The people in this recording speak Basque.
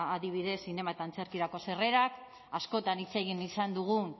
adibidez zinema eta antzerkirako sarrerak askotan hitz egin izan dugun